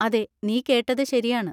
അതെ, നീ കേട്ടത് ശരിയാണ്.